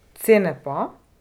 Cene pa?